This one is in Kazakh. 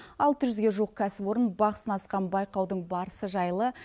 алты жүзге жуық кәсіпорын бақ сынасқан байқаудын барысы жайлы